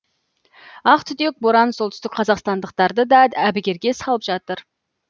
ақ түтек боран солтүстік қазақстандықтарды да әбігерге салып жатыр